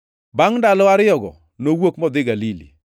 Bangʼ ndalo ariyogo, nowuok modhi Galili.